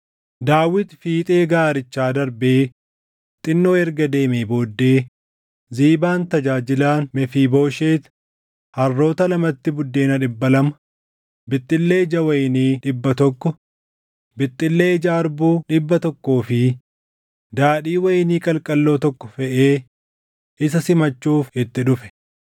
Daawit fiixee gaarichaa darbee xinnoo erga deemee booddee Ziibaan tajaajilaan Mefiibooshet harroota lamatti buddeena dhibba lama, bixxillee ija wayinii dhibba tokko, bixxillee ija harbuu dhibba tokkoo fi daadhii wayinii qalqalloo tokko feʼee isa simachuuf itti dhufe.